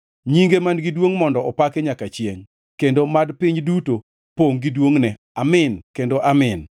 Nyinge man-gi duongʼ mondo opaki nyaka chiengʼ kendo mad piny duto pongʼ gi duongʼne. Amin kendo Amin.